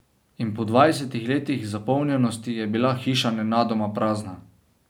In po dvajsetih letih zapolnjenosti je bila hiša nenadoma prazna.